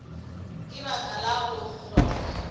ka baka la go hloka